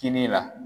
Kini la